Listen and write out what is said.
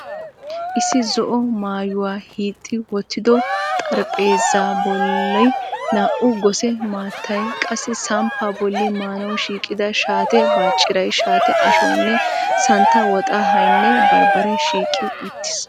Issi zo'o maayuwaa hiixxi wottido xaraphpheezzaa boli na'u gose maattay, qassi samppaa boli maanawu shiiqida shaate bacciray, shaatee ashuwanne santta woxxahaynne barbaree shiiqqi uttiis.